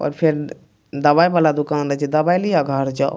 और फेर दवाई वला दुकान रहे छै दवाई लियो घर जौ।